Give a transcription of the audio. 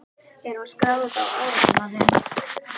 Er hún skráð á árásarmanninn?